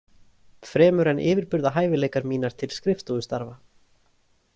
Fremur en yfirburðahæfileikar mínar til skrifstofustarfa.